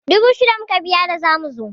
Dubu shida muka biya da zamu zo.